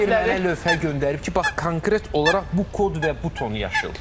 Belə bir mənə lövhə göndərib ki, bax konkret olaraq bu kod və bu tonu yaşıl.